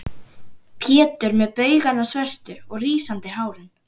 Pétur með baugana svörtu og rísandi hárin.